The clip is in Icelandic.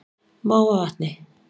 Mávavatni